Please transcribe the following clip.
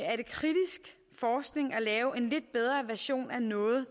lave en lidt bedre version af noget